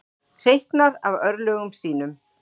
Hreyknar af örlögum sínum.